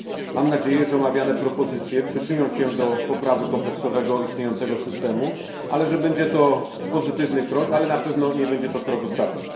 Mam nadzieję, że omawiane propozycje przyczynią się do poprawy kompleksowego istniejącego systemu, i że będzie to pozytywny krok, ale na pewno nie będzie to krok ostatni.